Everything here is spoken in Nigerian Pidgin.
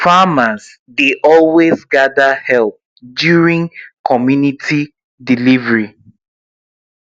farmers dey always gather help during comunity delivery